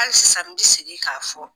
Hali sisan n di sigi k'a fɔ.